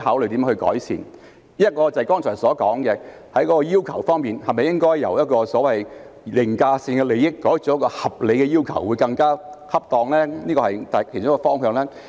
第一是我剛才提到的，在要求方面，是否由所謂的凌駕性利益改為合理的要求更為恰當呢？